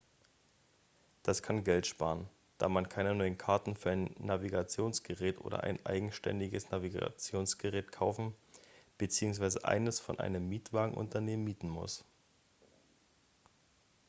das kann geld sparen da man keine neuen karten für ein navigationsgerät oder ein eigenständiges navigationsgerät kaufen bzw. eines von einem mietwagenunternehmen mieten muss